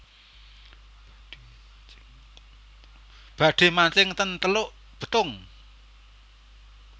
Badhe mancing ten Teluk Betung